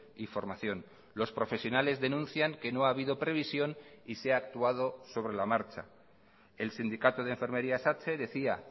y formación los profesionales denuncian que no ha habido previsión y se ha actuado sobre la marcha el sindicato de enfermería satse decía